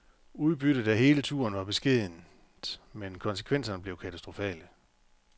Udbyttet af hele turen var beskedent, men konsekvenserne blev katastrofale.